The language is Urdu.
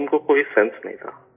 اور ان کو کوئی ہوش نہیں تھا